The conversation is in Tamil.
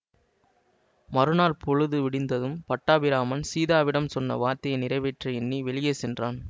மறுநாள் பொழுது விடிந்ததும் பட்டாபிராமன் சீதாவிடம் சொன்ன வார்த்தையை நிறைவேற்ற எண்ணி வெளியே சென்றான்